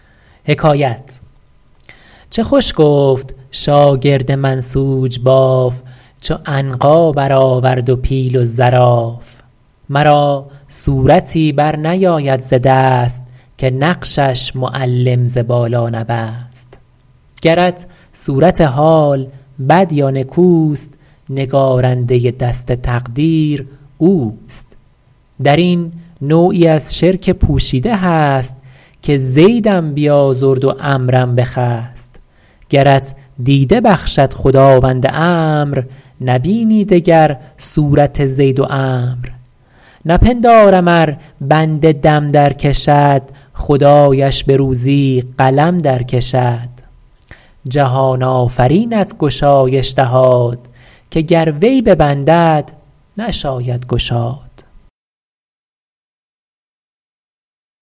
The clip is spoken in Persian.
چه خوش گفت شاگرد منسوج باف چو عنقا بر آورد و پیل و زراف مرا صورتی بر نیاید ز دست که نقشش معلم ز بالا نبست گرت صورت حال بد یا نکوست نگارنده دست تقدیر اوست در این نوعی از شرک پوشیده هست که زیدم بیازرد و عمروم بخست گرت دیده بخشد خداوند امر نبینی دگر صورت زید و عمرو نپندارم ار بنده دم در کشد خدایش به روزی قلم در کشد جهان آفرینت گشایش دهاد که گر وی ببندد که داند گشاد